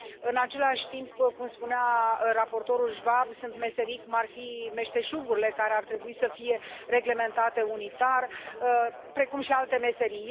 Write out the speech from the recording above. În același timp, cum spunea raportorul Schwab, sunt meserii, cum ar fi meșteșugurile, care ar trebui să fie reglementate unitar, precum și alte meserii.